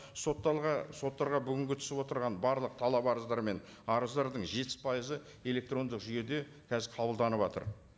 соттарға бүгінгі түсіп отырған барлық талап арыздар мен арыздардың жетпіс пайызы электрондық жүйеде қазір қабылданыватыр